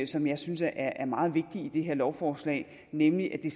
som jeg synes er er meget vigtig i det her lovforslag nemlig at det